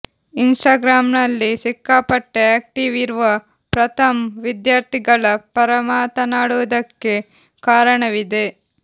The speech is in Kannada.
ಇನ್ಸ್ಟಾಗ್ರಾಂನಲ್ಲಿ ಸಿಕ್ಕಾಪಟ್ಟೆ ಆ್ಯಕ್ಟಿವ್ ಇರುವ ಪ್ರಥಮ್ ವಿದ್ಯಾರ್ಥಿಗಳ ಪರ ಮಾತನಾಡುವುದಕ್ಕೆ ಕಾರಣವಿದೆ